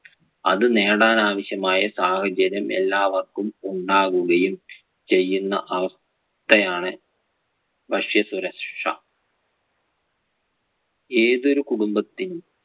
അത് നേടാൻ ആവശ്യമായ സാഹചര്യം എല്ലാവര്‍ക്കും ഉണ്ടാകുവുകയും ചെയ്യുന്ന അവസ്ഥയാണ് ഭക്ഷ്യസുരക്ഷാ. ഏതൊരു കുടുംബത്തിന്‍~